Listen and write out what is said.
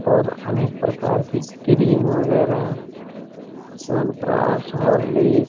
और अनेक प्रकार की क्रीम वगेरा च्यवनप्राश होर्लिक्स --